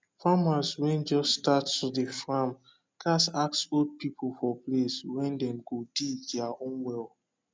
farmers wen just start to dey farm gat ask old people for place wen dem go dig dier own well